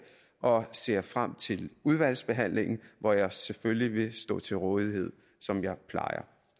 og ser frem til udvalgsbehandlingen hvor jeg selvfølgelig vil stå til rådighed som jeg plejer